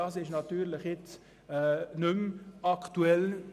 Nun ist dies natürlich nicht mehr aktuell.